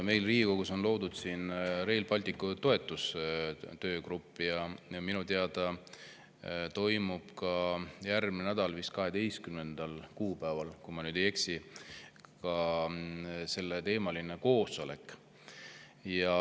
Meil Riigikogus on loodud Rail Balticu toetus ja minu teada toimub järgmine nädal, vist 12. kuupäeval, kui ma ei eksi, ka selleteemaline koosolek.